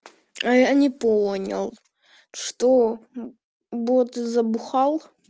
а я не понял что бот ты забухал